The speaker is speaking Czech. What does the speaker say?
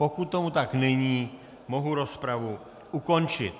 Pokud tomu tak není, mohu rozpravu ukončit.